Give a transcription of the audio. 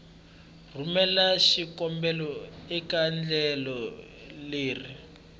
rhumela xikombelo eka endlelo leri